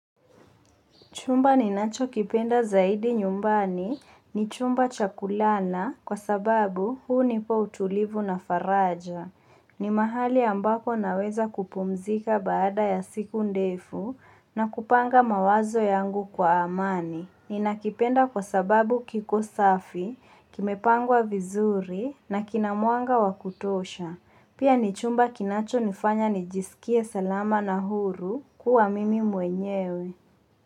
Chumba ninacho kipenda zaidi nyumbani ni chumba cha kulala na kwa sababu hunipa utulivu na faraja. Ni mahali ambako naweza kupumzika baada ya siku ndefu na kupanga mawazo yangu kwa amani. Ni nakipenda kwa sababu kiko safi, kimepangwa vizuri na kina mwanga wakutosha. Pia ni chumba kinacho nifanya nijisikie salama na huru kuwa mimi mwenyewe.